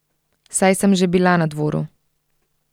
Saj sem že bila na dvoru.